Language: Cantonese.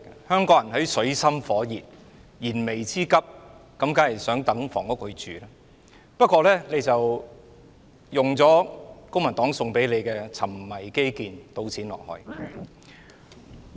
香港人處於水深火熱、燃眉之急的狀態，當然對房屋有熱切期望，但你卻像公民黨所說般，"沉迷基建，倒錢落海"。